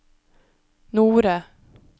Nore